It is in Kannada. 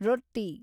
ರೊಟ್ಟಿ